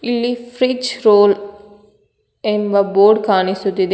ಇಲ್ಲಿ freeze roll ಎಂಬ board ಕಾಣಿಸುತ್ತದೆ.